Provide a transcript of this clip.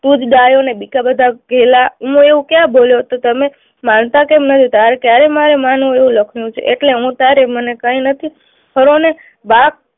તું જ ડાહ્યો ને બીજા બધા ઘેલા મેં એવું ક્યા બોલ્યો તો તમે માનતા કેમ નથી? તારે ક્યારે મારું માનવું એવું લખનું છે એટલે હું તારે મને કઈ નથી ફરોને, બાપ